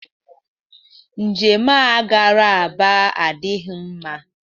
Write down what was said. Njem a gara Aba adịghị mma